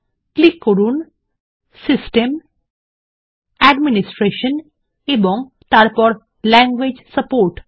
click করুন system administration এবং language support